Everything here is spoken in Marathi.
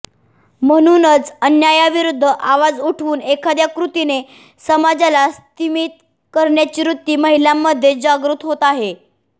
म्हणूनच अन्यायाविरुद्ध आवाज उठवून एखाद्या कृतीने समाजाला स्तिमित करण्याची वृत्ती महिलांमध्ये जागृत होते आहे